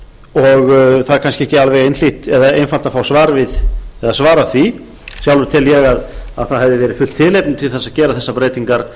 það er kannski ekki alveg einhlítt eða einfalt að fá að svara því sjálfur tel ég að það hefði verið fullt tilefni til þess að gera þessar breytingar